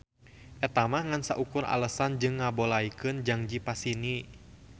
Eta mah ngan saukur alesan jang ngabolaykeun jangji pasini